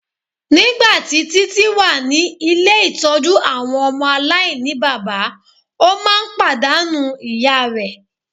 Nigbati Titi wa ni ile-itọju awọn ọmọ alainibaba o maa n padanu iya rẹ